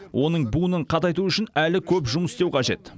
оның буынын қатайту үшін әлі көп жұмыс істеу қажет